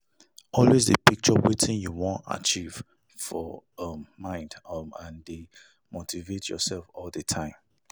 always de picture wetin you won achieve for um mind um and de motivate yourself all the time